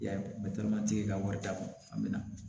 I y'a ye ka wari d'a ma a bɛ na